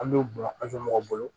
An b'u bɔn an fɛ mɔgɔw bolo